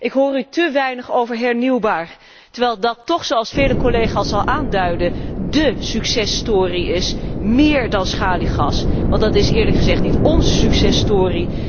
Ik hoor u te weinig over hernieuwbaar, terwijl dat toch zoals vele collega's al aanduidden dé successtory is, meer dan schaliegas, want dat is eerlijk gezegd niet ónze successtory.